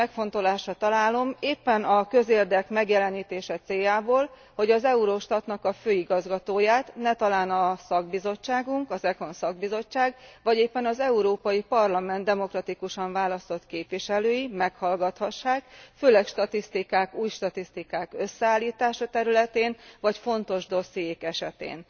Én is megfontolásra érdemesnek találom, éppen a közérdek megjelenítése céljából, hogy az Eurostat főigazgatóját, netalán a szakbizottságunk, az ECON szakbizottság, vagy éppen az Európai Parlament demokratikusan választott képviselői meghallgathassák, főleg statisztikák, új statisztikák összeállítása területén, vagy fontos ügyek esetén.